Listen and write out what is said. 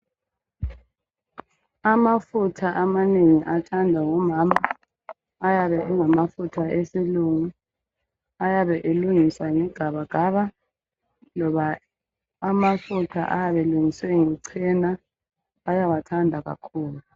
Amafutha amanengi athandwa ngomama, ayabe engamafutha esilungu ayabe elungiswe nge gabagaba loba ichena bayawathanda kakhulu.